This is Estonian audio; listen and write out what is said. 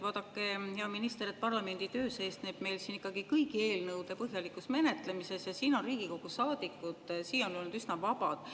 Vaadake, hea minister, parlamendi töö seisneb ikkagi kõigi eelnõude põhjalikus menetlemises ja siin on Riigikogu saadikud siiani olnud üsna vabad.